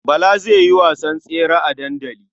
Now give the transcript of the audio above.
Bala zai yi wasan tsere a dandali.